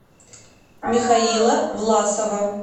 михаила власова